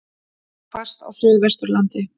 Hvasst á Suðvesturlandi